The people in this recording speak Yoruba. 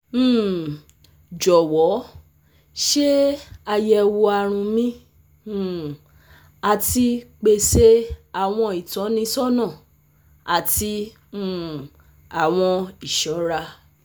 um Jọwọ ṣe ayẹwo arun mi um ati pese awọn itọnisọna ati um awọn iṣọra